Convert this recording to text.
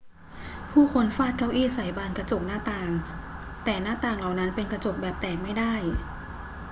ผู้คนฟาดเก้าอี้ใส่บานกระจกหน้าต่าง แต่หน้าต่างเหล่านั้นเป็นกระจกแบบแตกไม่ได้